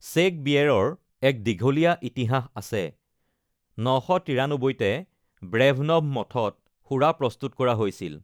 Check বিয়েৰৰ এক দীঘলীয়া ইতিহাস আছে, ৯৯৩তে ব্ৰেভনভ মঠত সুৰা প্ৰস্তুত কৰা হৈছিল।